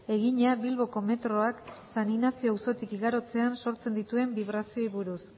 egina bilboko metroak san inazio auzotik igarotzean sortzen dituen bibrazioei buruz